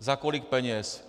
Za kolik peněz?